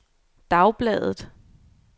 dagbladet